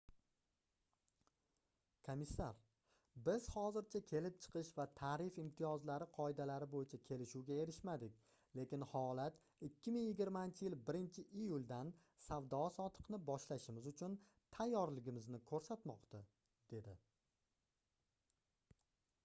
komissar biz hozircha kelib chiqish va tarif imtiyozlari qoidalari boʻyicha kelishuvga erishmadik lekin holat 2020-yil 1-iyuldan savdo-sotiqni boshlashimiz uchun tayyorligimizni koʻrsatmoqda - dedi